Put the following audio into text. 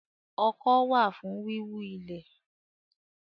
Ọkọ́ wà fún wíwú ilẹ̀